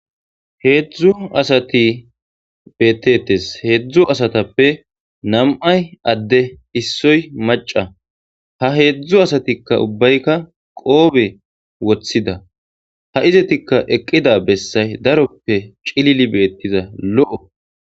heedzdzu asati beettetes heedzdzu asatappe nam7ay adde issoy maca ha heedzdzu asatikka ubbaykka qoobe woththida ha izatikka eqqida bessay daroppe cilili beettiza lo7o